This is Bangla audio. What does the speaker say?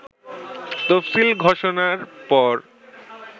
তফসিল ঘোষণার পর